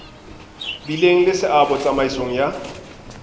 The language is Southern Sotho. bileng le seabo tsamaisong ya